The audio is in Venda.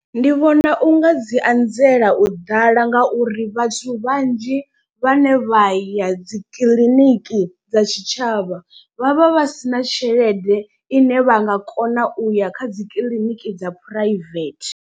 Ndi vhona u nga dzi anzela u ḓala ngauri vhathu vhanzhi vhane vha ya dzi kiḽiniki dza tshitshavha vhavha vha sina tshelede ine vha nga kona u ya kha dzi kiḽiniki dza private.